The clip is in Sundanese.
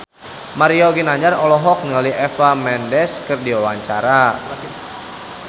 Mario Ginanjar olohok ningali Eva Mendes keur diwawancara